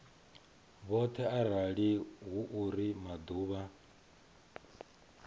vhoṱhe arali hu uri maḓuvha